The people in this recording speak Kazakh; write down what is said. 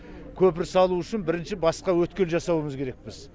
көпір салу үшін бірінші басқа өткел жасауымыз керекпіз